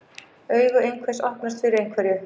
Augu einhvers opnast fyrir einhverju